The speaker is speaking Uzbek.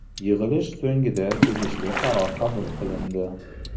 Yig‘ilish so‘ngida tegishli qaror qabul qilindi.